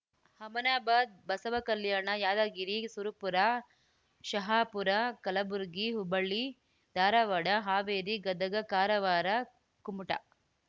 Humnabad Basavakalyan Yadgir Surpur Shahapur Kalaburagi Hubballi Dharwad Haveri Gadag Karwar Kumta